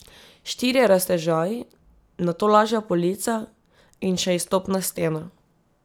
Štirje raztežaji, nato lažja polica in še izstopna stena.